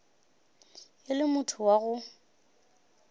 e le motho wa go